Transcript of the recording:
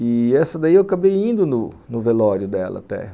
E essa daí eu acabei indo no no velório dela até.